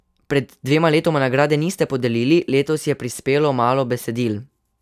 Pred dvema letoma nagrade niste podelili, letos je prispelo malo besedil.